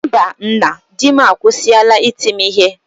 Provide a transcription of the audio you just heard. mba nna, dim akwụsịla iti m ihe